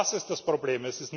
Das ist das Problem.